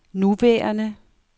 nuværende